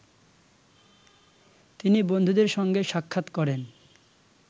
তিনি বন্ধুদের সঙ্গে সাক্ষাৎ করেন